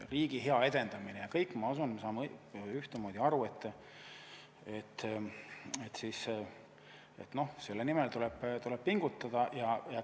Riigi edendamine – ma usun, me kõik saame ühtemoodi aru, et selle nimel tuleb pingutada.